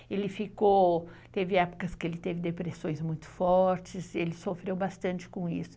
Ele ficou... Teve épocas que ele teve depressões muito fortes, ele sofreu bastante com isso.